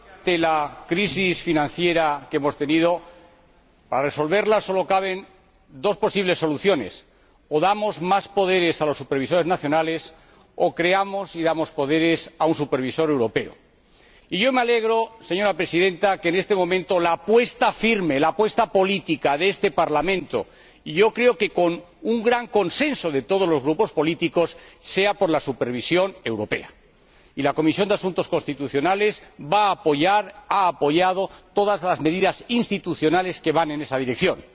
Señora Presidenta, creo que para resolver la crisis financiera que hemos tenido solo caben dos posibles soluciones o damos más poderes a los supervisores nacionales o creamos un supervisor europeo y le damos poderes. Y me alegro, señora Presidenta, de que en este momento la apuesta firme, la apuesta política de este Parlamento, y creo que con un gran consenso de todos los grupos políticos, sea por la supervisión europea. La Comisión de Asuntos Constitucionales va a apoyar y ha apoyado todas las medidas institucionales que van en esa dirección.